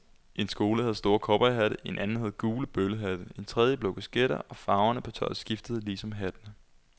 En skole havde store cowboyhatte, en anden havde gule bøllehatte, en tredje blå kasketter, og farverne på tøjet skiftede ligesom hattene.